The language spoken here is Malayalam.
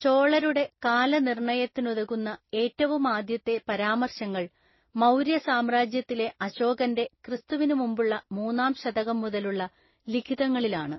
ചോളരുടെ കാലനിർണയത്തിനുതകുന്ന ഏറ്റവുമാദ്യത്തെ പരാമർശങ്ങൾ, മൗര്യസാമ്രാജ്യത്തിലെ അശോകൻ്റെ, ക്രിസ്തുവിനുമുമ്പുള്ള മൂന്നാംശതകം മുതലുള്ള ലിഖിതങ്ങളിലാണ്.